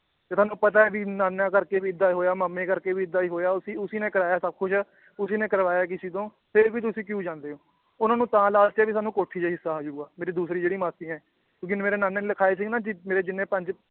ਜੇ ਤੁਹਾਨੂੰ ਪਤਾ ਏ ਕਿ ਨਾਨਾ ਕਰਕੇ ਵੀ ਏਦਾਂ ਹੋਇਆ ਮਾਮੇ ਕਰਕੇ ਵੀ ਏਦਾਂ ਈ ਹੋਇਆ ਉਸੀ ਉਸੀ ਨੇ ਕਰਾਇਆ ਸਬ ਕੁਛ ਉਸੀ ਨੇ ਕਰਵਾਇਆ ਕਿਸੀ ਤੋਂ ਫਿਰ ਵੀ ਤੁਸੀ ਕਿਊ ਜਾਂਦੇ ਓ ਉਹਨਾਂ ਨੂੰ ਤਾਂ ਲਾਲਚ ਏ ਵੀ ਸਾਨੂੰ ਕੋਠੀ ਦਾ ਈ ਹਿੱਸਾ ਆਜੁਗਾ ਮੇਰੀ ਦੂਸਰੀ ਜਿਹੜੀ ਮਾਸੀ ਏ ਮੇਰੇ ਨਾਨੇ ਨੇ ਲਖਾਏ ਸੀ ਨਾ ਜੀ ਮੇਰੇ ਜਿੰਨੇ ਪੰਜ